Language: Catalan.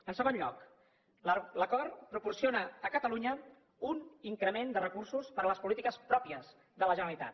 en segon lloc l’acord proporciona a catalunya un increment de recursos per a les polítiques pròpies de la generalitat